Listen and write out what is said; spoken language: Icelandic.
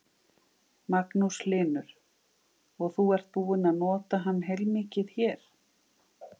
Magnús Hlynur: Og þú ert búinn að nota hann heilmikið hér?